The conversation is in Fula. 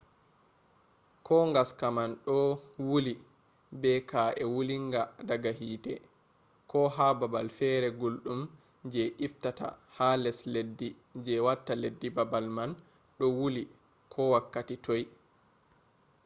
ko gaska man do wuli be ka’e wulinga daga hite ko ha babal fere guldum je iftata ha les leddi je watta leddi babal man do wuli ko wakkati toi